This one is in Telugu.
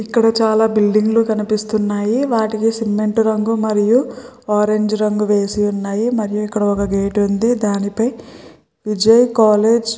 ఇక్కడ చాలా బిల్దింగ్ లు కనిపిస్తున్నాయి వాటికి సిమెంట్ రంగు మరియు ఆరంజ్ రంగు వేసి ఉన్నాయి మళ్ళీ ఇక్కడ ఒక గెట్ వుంది దానిపై విజయ్ కాలేజీ --